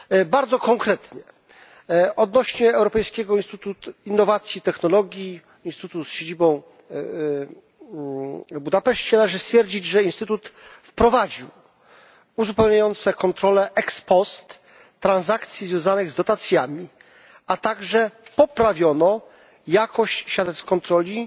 Bardzo konkretnie odnośnie do Europejskiego Instytutu Innowacji i Technologii instytutu z siedzibą w Budapeszcie należy stwierdzić, że instytut wprowadził uzupełniające kontrole ex post transakcji związanych z dotacjami, a także poprawiono jakość świadectw kontroli